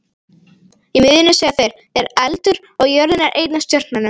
Í miðjunni, segja þeir, er eldur og jörðin er ein af stjörnunum.